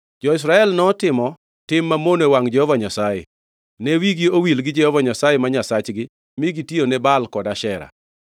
Jo-Israel notimo tim mamono e wangʼ Jehova Nyasaye; ne wigi owil gi Jehova Nyasaye ma Nyasachgi mi gitiyone Baal kod Ashera.